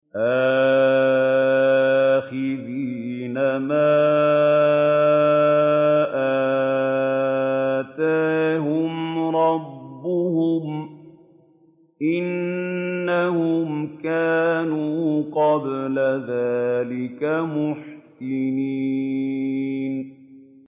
آخِذِينَ مَا آتَاهُمْ رَبُّهُمْ ۚ إِنَّهُمْ كَانُوا قَبْلَ ذَٰلِكَ مُحْسِنِينَ